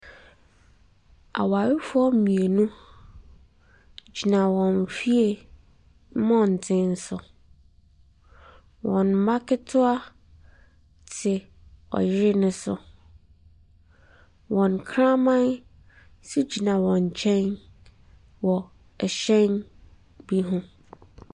Awarefoɔ mmienu ɛgyina wɔn fie mmɔnten so, wɔn ba ketewa te yere ne so, wɔn kraman nso gyina wɔn nkyɛn wɔ hyɛn bi ho.